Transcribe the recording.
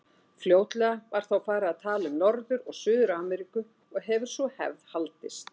Fljótlega var þó farið að tala um Norður- og Suður-Ameríku og hefur sú hefð haldist.